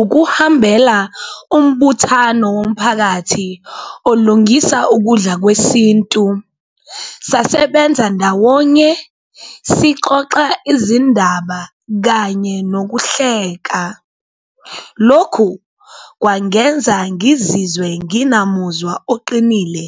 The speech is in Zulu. Ukuhambela umbuthano womphakathi olungisa ukudla kwesintu, sasebenza ndawonye sixoxa izindaba kanye nokuhleka, lokhu kwangenza ngizizwe nginamuzwa oqinile